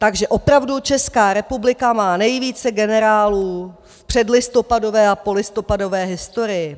Takže opravdu Česká republika má nejvíce generálů v předlistopadové a polistopadové historii.